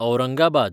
Aurangabad